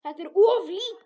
Þetta er of lítið.